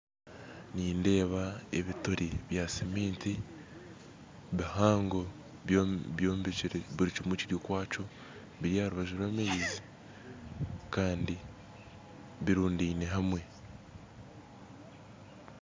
Nindeeba ebituri bya cemiti bihango byombekire buri kimwe kiri okwakyo biri aharubaju rw'amaizi kandi birundaine hamwe